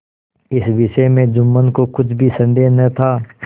इस विषय में जुम्मन को कुछ भी संदेह न था